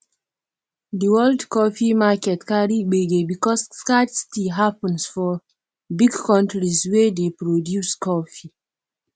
di world coffee market carry gbege because scarcity happen for big countries wey dey produce coffee